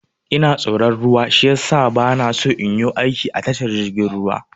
Ina tsoron ruwa shiyasa bana so in yu aiki a tashar jirgin ruwa.